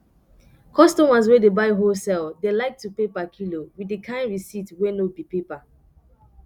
customers wey dey buy wholesale dey like to pay per kilo with di kain receipt wey no be paper